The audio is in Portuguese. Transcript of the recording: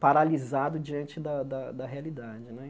paralisado diante da da da realidade né.